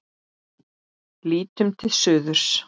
Lítum til suðurs.